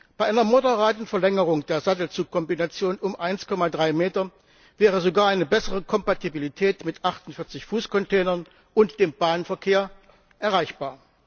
Bei einer moderaten Verlängerung der Sattelzugkombination um 1,3 Meter wäre sogar eine bessere Kompatibilität mit 48 Fuß Containern und dem Bahnverkehr erreichbar.